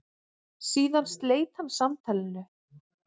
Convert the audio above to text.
Síðan sleit hann samtalinu.